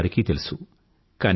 చూసేవారికీ తెలుసు